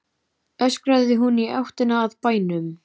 öskraði hún í áttina að bænum.